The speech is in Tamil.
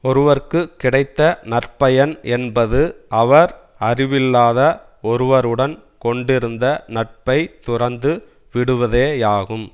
ஒருவருக்கு கிடைத்த நற்பயன் என்பது அவர் அறிவில்லாத ஒருவருடன் கொண்டிருந்த நட்பை துறந்து விடுவதேயாகும்